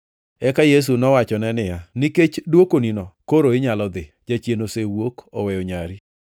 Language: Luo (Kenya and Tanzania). Eka Yesu nowachone niya, “Nikech dwokonino koro inyalo dhi. Jachien osewuok oweyo nyari.”